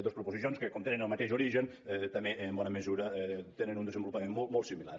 dos proposicions que com que tenen el mateix origen també en bona mesura tenen un desenvolupament molt similar